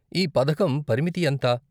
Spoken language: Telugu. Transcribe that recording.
ఈ పథకం పరిమితి ఎంత?